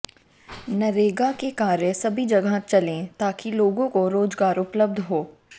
नरेगा के कार्य सभी जगह चलें ताकि लोगों को रोजगार उपलब्ध हो